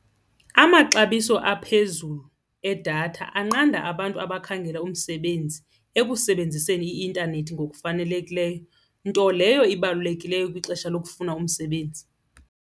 Amaxabiso aphezulu edatha anqanda abantu abakhangela umsebenzi ekusebenziseni i-intanethi ngokufanelekileyo, nto leyo ibalulekileyo kwixesha lokufunda umsebenzi.